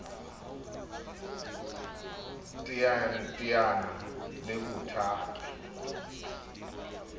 teana le bothata ha a